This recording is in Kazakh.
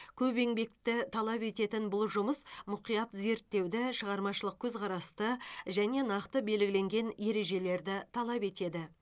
көп еңбекті талап ететін бұл жұмыс мұқият зерттеуді шығармашылық көзқарасты және нақты белгіленген ережелерді талап етеді